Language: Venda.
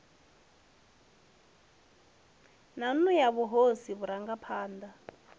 na nnu ya mahosi vharangaphana